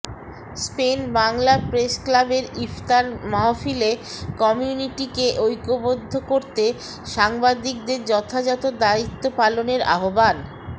Spain Bangla প্রেসক্লাবের ইফতার মাহফিলে কমিউনিটিকে ঐক্যবদ্ধ করতে সাংবাদিকদের যথাযথ দায়িত্ব পালনের আহ্বান